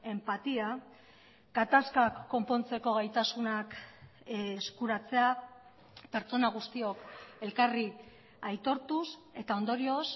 enpatia gatazkak konpontzeko gaitasunak eskuratzea pertsona guztiok elkarri aitortuz eta ondorioz